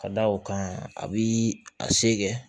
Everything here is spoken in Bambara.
Ka da o kan a bɛ a se kɛ